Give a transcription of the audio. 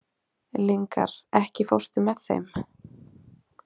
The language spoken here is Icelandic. Lyngar, ekki fórstu með þeim?